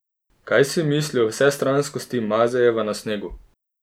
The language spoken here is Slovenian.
Kaj si misli o vsestranskosti Mazejeve na snegu?